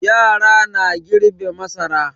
Yara na girbe masara.